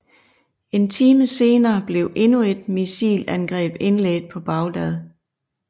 En time senere blev endnu et missilangreb indledt på Baghdad